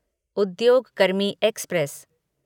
उद्योग कर्मी एक्सप्रेस